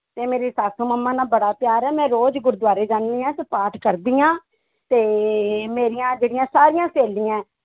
ਤੇ ਮੇਰੀ ਸੱਸ ਮੰਮਾ ਨਾਲ ਬੜਾ ਪਿਆਰ ਹੈ ਮੈਂ ਰੋਜ਼ ਗੁਰਦੁਆਰੇ ਜਾਂਦੀ ਹਾਂ ਤੇ ਪਾਠ ਕਰਦੀ ਹਾਂ, ਤੇ ਮੇਰੀਆਂ ਜਿਹੜੀਆਂ ਸਾਰੀਆਂ ਸਹੇਲੀਆਂ ਹੈ